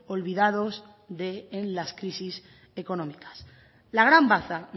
olvidados en las crisis económicas la gran baza